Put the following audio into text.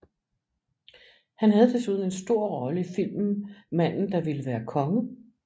Han havde desuden en stor rolle i filmen Manden der ville være konge